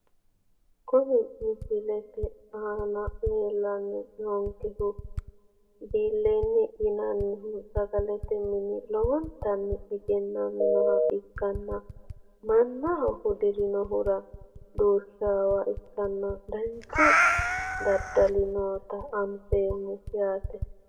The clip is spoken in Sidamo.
Kuni misilete aana leelani noonkehu bileeni yinanihu sagalete mini lowontani egenaminoha ikkana manaho hudirinohura duushawoha ikanna danchu dadali noota anfemo yaate.